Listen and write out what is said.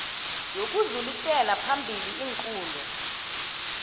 yokudlulisela phambili iinqunto